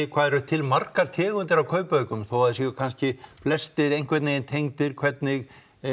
hvað eru til margar tegundir af kaupaukum þó að þeir séu kannski flestir einhvern veginn tengdir hvernig